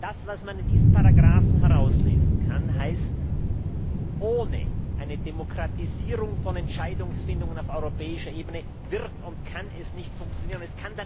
Das, was man aus diesen Ziffern herauslesen kann, heißt Ohne eine Demokratisierung von Entscheidungsfindungen auf europäischer Ebene wird und kann es nicht funktionieren.